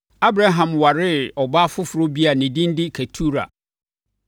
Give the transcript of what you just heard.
Abraham waree ɔbaa foforɔ bi a ne din de Ketura.